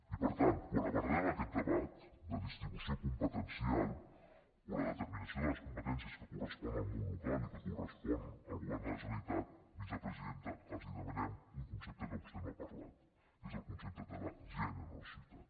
i per tant quan abordem aquest debat de distribució competencial o la determinació de les competències que corresponen al món local i que corresponen al govern de la generalitat vicepresidenta els demanem un concepte que vostè no n’ha parlat és el concepte de la generositat